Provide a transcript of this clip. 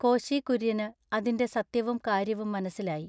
കോശി കുര്യന് അതിന്റെ സത്യവും കാര്യവും മനസ്സിലായി.